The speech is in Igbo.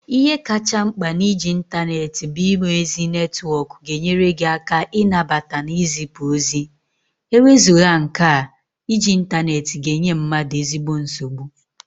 Ihe kacha nkpa na-iji intaneti bu inwe ezi netwok ga-enyere gi aka inabata na izipu ozi, ewezugha nke a, iji intaneti ga-enye mmadu ezigbo nsogbu.